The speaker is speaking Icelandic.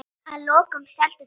Að lokum seldu þau húsið.